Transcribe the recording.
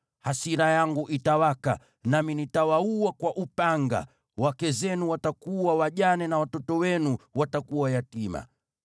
Hasira yangu itawaka, nami nitawaua kwa upanga, wake zenu watakuwa wajane na watoto wenu watakuwa yatima.